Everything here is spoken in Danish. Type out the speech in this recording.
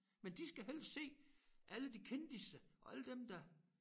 Men de skal helst se alle de kendisser og alle dem der